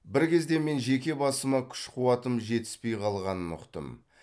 бір кезде мен жеке басыма күш қуатым жетіспей қалғанын ұқтым